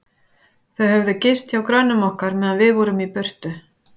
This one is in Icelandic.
Þau höfðu gist hjá grönnum okkar, meðan við vorum í burtu.